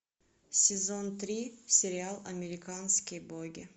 сезон три сериал американские боги